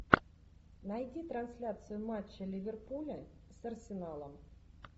найди трансляцию матча ливерпуля с арсеналом